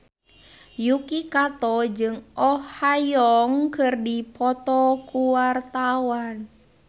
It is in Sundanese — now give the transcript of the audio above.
Yuki Kato jeung Oh Ha Young keur dipoto ku wartawan